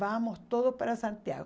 Vamos todos para Santiago.